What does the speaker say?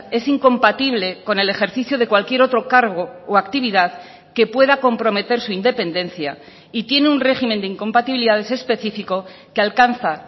es incompatible con el ejercicio de cualquier otro cargo o actividad que pueda comprometer su independencia y tiene un régimen de incompatibilidades específico que alcanza